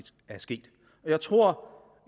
er sket jeg tror